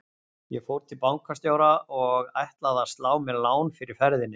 Ég fór til bankastjóra og ætlaði að slá mér lán fyrir ferðinni.